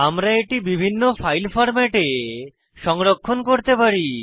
আমরা এটি বিভিন্ন ফাইল ফরম্যাটে সংরক্ষণ করতে পারি